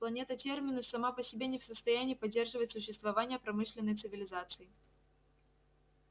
планета терминус сама по себе не в состоянии поддерживать существование промышленной цивилизации